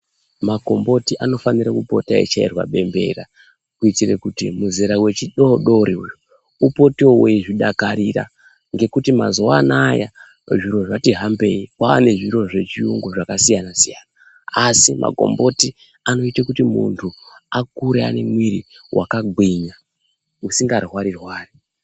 Makomboti anofanira pota achichairwa bembera. Kuitira kuti muzera vechidodori uyu upote vechizvidakarira ngekuti mazuva anaya zviro zvati hambei kwane zviro zvechiyungu zvakasiyana-siyana. Asi makomboti anoite kuti muntu akure anemwiri vakagwinya asingarwari-rwari.